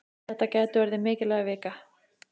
Þetta gæti orðið mikilvæg vika.